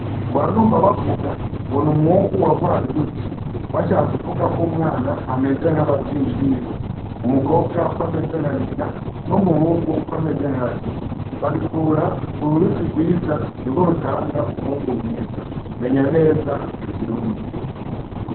Mpora numva bavuga ngo n'umwungu wa rwaruyuzi bashaka kuvuga ko umwana ameze nka b'avyeyi biwe, Umukobwa ko ameze nka nyina n'umuhungu ko ameze nka se babikura k'uruyuzi rwiza nirwo rutanga umwungu mwiza menya neza ico kirundi.